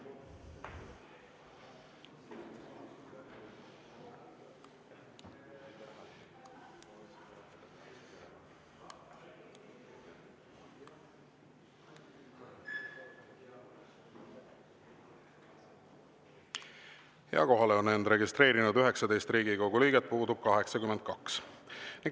Kohalolijaks on end registreerinud 19 Riigikogu liiget, puudub 82.